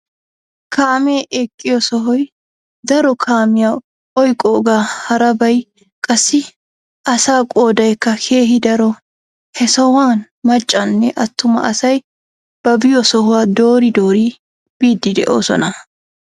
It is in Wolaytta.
Kaamee eqqiyo sohoy daro kaamiyaa oyqqoogaa harabay qassi asaa qoodaykka keehi daro. He sohuwaan maccanne attuma asay ba biyo sohuwaa doori doori biidi de'oosona.